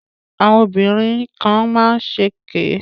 Àwọn obìnrin kan má ń ṣèké